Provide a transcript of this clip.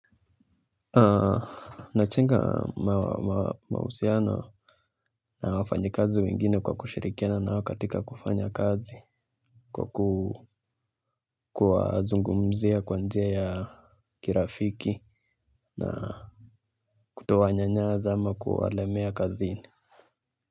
Najenga mahusiano na wafanyikazi wengine kwa kushirikiana nao katika kufanya kazi. Kwa kuwazungumzia kwa njia ya kirafiki na kuto wanyanyasa ama kuwalemea kazini.